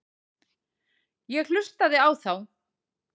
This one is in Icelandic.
Ég hlustaði á þá.